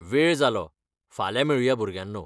वेळ जालो! फाल्यां मेळुंया, भुरग्यांनो!